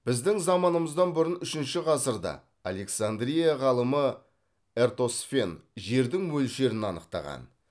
біздің заманымыздан бұрын үшінші ғасырда александрия ғалымы эртосфен жердің мөлшерін анықтаған